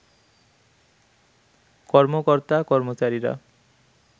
কর্মকর্তা-কর্মচারিরা